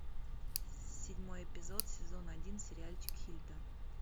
седьмой эпизод сезон один сериальчик хильда